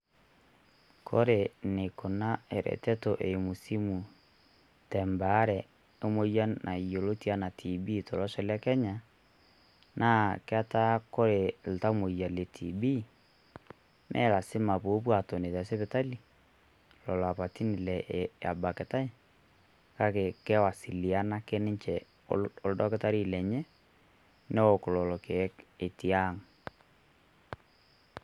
Kore neikunaa ereteto eimu simuii te baare emoyian naiyioloti anaa TB tolosho le kenya, naa ketaa kore ltamoyia le TB mee lasima poopo eton te sipitali lolo apatin abakitai kaki kewasiliana ake ninchee oldaktari lenye neook lolo lkiek otii ang'.